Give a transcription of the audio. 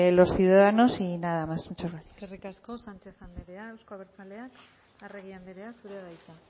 los ciudadanos y nada más muchas gracias eskerrik asko sánchez andrea euzko abertzaleak arregi andrea zurea da hitza